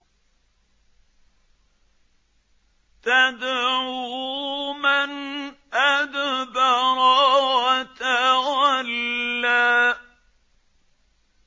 تَدْعُو مَنْ أَدْبَرَ وَتَوَلَّىٰ